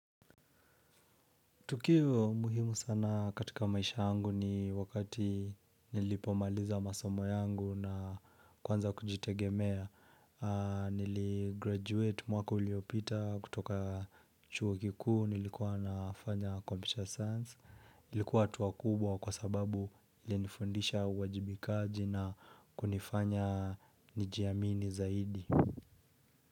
Tukio muhimu sana katika maisha yangu ni wakati nilipomaliza masomo yangu na kwanza kujitegemea. Niligraduate mwako iliopita kutoka chuo kiku nilikuwa nafanya computer science. Ilikuwa atuwa kubwa kwa sababu ili nifundisha uwajibikaji na kunifanya nijiamini zaidi.